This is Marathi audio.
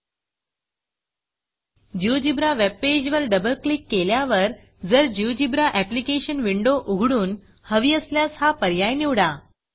GeoGebraजियोजीब्रा वेबपेज वर डबल क्लिक केल्यावर जर जिओजेब्रा applicationजियोजीब्रा एप्लिकेशन विंडो उघडून हवी असल्यास हा पर्याय निवडा